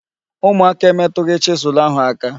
Ụmụaka emetụghị chisụl ahụ aka.